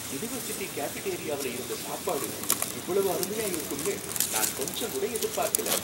University கேஃபிடேரியாவுல இருந்த சாப்பாடு இவ்வளவு அருமையா இருக்கும்னு நான் கொஞ்சங்கூட எதிர்பார்க்கல.